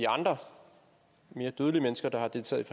andre mere dødelige mennesker der har deltaget